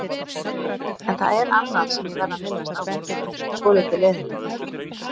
En það er annað sem ég verð að minnast á við þig, svolítið leiðinlegt.